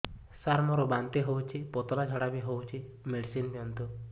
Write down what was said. ସାର ମୋର ବାନ୍ତି ହଉଚି ପତଲା ଝାଡା ବି ହଉଚି ମେଡିସିନ ଦିଅନ୍ତୁ